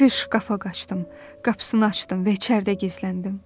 Qəfil şkafa qaçdım, qapısını açdım və içəridə gizləndim.